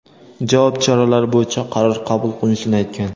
javob choralari bo‘yicha qaror qabul qilinishini aytgan.